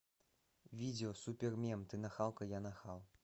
видео супермем ты нахалка я нахал